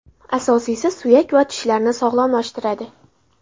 Asosiysi suyak va tishlarni sog‘lomlashtiradi.